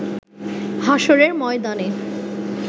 হাশরের ময়দানে